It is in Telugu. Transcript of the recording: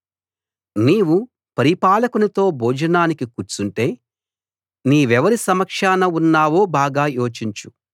నీవు పరిపాలకునితో భోజనానికి కూర్చుంటే నీవెవరి సమక్షాన ఉన్నావో బాగా యోచించు